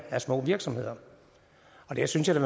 er små virksomheder der synes jeg